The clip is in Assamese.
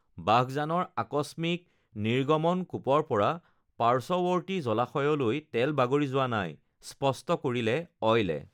বাঘজানৰ আকস্মিক নিৰ্গমন কূপৰপৰা পাৰ্শ্বৱৰ্তী জলাশয়লৈ তেল বাগৰি যোৱা নাইঃ স্পষ্ট কৰিলে অইলে